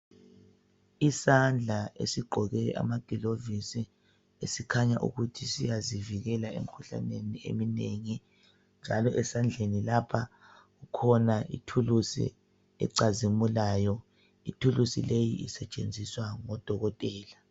Isandla esigqoke amagilovisi esikhanya ukuthi siyazivikela emikuhlaneni eminengi njalo esandleni lapha kukhona ituluzi ecazimulayo. Ithululuzi leyi isetshenziswa ngodokotela.